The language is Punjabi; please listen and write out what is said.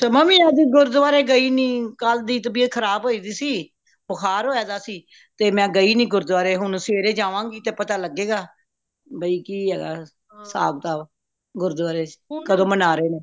ਮੈਂ ਵੀ ਅੱਜ ਗੁਰਦੁਆਰੇ ਗਈ ਨਹੀਂ ਕਲ ਦੀ ਤਬੀਯਤ ਖਰਾਬ ਹੋਈ ਦਿਸੀ ਬੁਖ਼ਾਰ ਹੋਯਾ ਦਯਾ ਸੀ ਤੇ ਮੈਂ ਗਈ ਨਹੀਂ ਗੁਰਦੁਆਰੇ ਹੁਣ ਸਵੇਰੇ ਜਾਵਾਂਗੀ ਤੇ ਪਤਾ ਲਗੇਗਾ ਭਈ ਕਿ ਹੈਗਾ ਹਿਸਾਬ ਕਿਤਾਬ ਗੁਰਦੁਆਰੇ ਵਿੱਚ ਕਦੋ ਮਨਾ